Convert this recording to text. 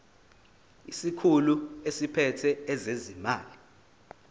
isikhulu esiphethe ezezimali